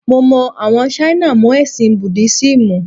Mo mọ àwọn Ṣáínà mọ́ ẹ̀sìn Búdísímù.